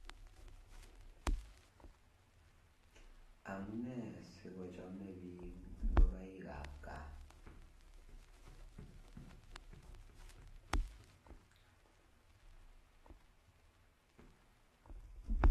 Amune sikochome biik ngokaikab gaa?